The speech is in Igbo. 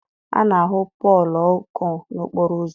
A na-ahụ poolu ọkụ n'okporo ụzọ